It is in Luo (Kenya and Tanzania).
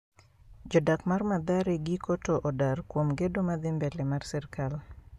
Jodak mar madhare giko to odar kuom gedo madhi mbele mar sirkal